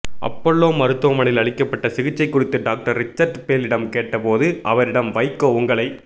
Apollo மருத்துவமனையில் அளிக்கப்பட்ட சிகிச்சை குறித்து டாக்டர் ரிச்சர்ட் பேலிடம் கேட்ட போது அவரிடம் வைகோ உங்களை